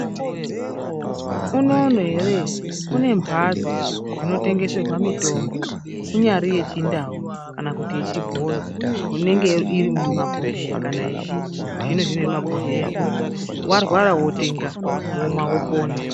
Unono ere kune mbatso dzinotengeserwa mitombo kunyari yechindau kana kuti yechibhoyi inenge iri mumabhohleya kana kuti zviri muzbibhohleya varwara votenga.